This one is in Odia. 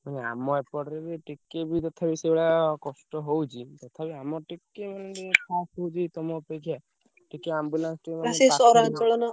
ହଁ ଆମ ଏପଟରେ ବି ଟିକେ ବି ତଥାପି ସେଇଭଳିଆ କଷ୍ଟ ହଉଛି, ତଥାପି ଆମର ଟିକେ ମାନେ ହଉଛି ତମ ଅପେକ୍ଷା। ଟିକେ ambulance ।